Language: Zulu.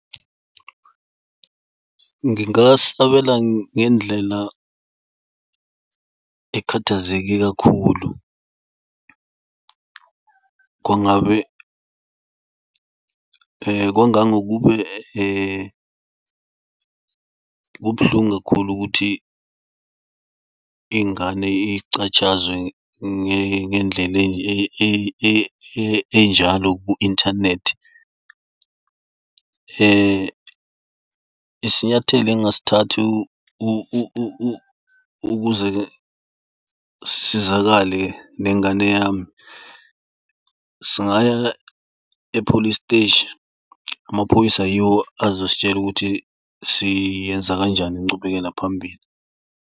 Ngingasabela ngendlela ekhathazeke kakhulu kwangabe kwangangokube kubuhlungu kakhulu ukuthi ingane icatshazwe ngendlela enjalo ku-inthanethi. Isinyathelo engingasithatha ukuze sisizakale nengane yami, singaya epholi siteshi. Amaphoyisa yiwo azositshela ukuthi siyenza kanjani incubekela phambili.